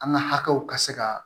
An ka hakɛw ka se ka